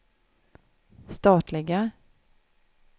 statliga